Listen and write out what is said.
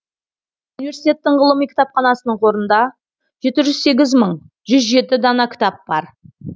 университеттің ғылыми кітапханасының қорында жеті жүз сегіз мың жүз жеті дана кітап бар